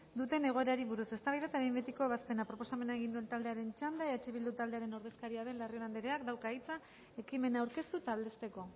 duten egoerari buruz eztabaida eta behin betiko ebazpena proposamen egin duen taldearen txanda eh bildu taldearen ordezkaria den larrion andereak dauka hitza ekimena aurkeztu eta aldezteko